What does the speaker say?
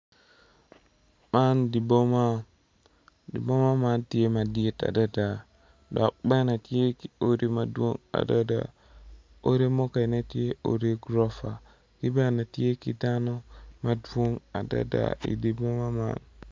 Man di boma di boma man tye madit adada dok bene tye ki odi madwong adada odi mukene tye odi gurofa ki bene tye ki dano madwong adada i di boma man